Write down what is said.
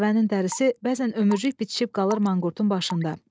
Dəvənin dərisi bəzən ömürlük bitişib qalır manqurtun başında.